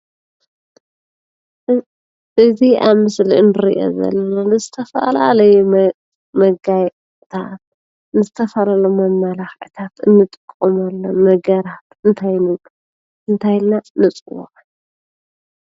እዚ ኣብ ምስሊ እንሪኦ ዘለና ንዝተፈላለዩ መጋየፅትታት ንዝተፈላለዩ መመላክዕታትን እንጥቀለሙ ነገር እንታይነት ኣንታይ ኢልና ንፅወዖ ?